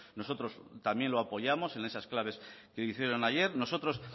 nosotros también lo apoyamos en esas claves que hicieron ayer nosotros